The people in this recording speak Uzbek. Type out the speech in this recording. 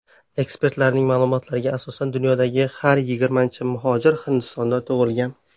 Ekspertlarning ma’lumotlariga asosan, dunyodagi har yigirmanchi muhojir Hindistonda tug‘ilgan.